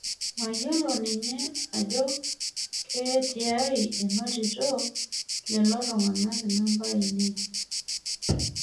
Mayiolo ninye ajo kee tiai inotito lelotung'anak namba ainei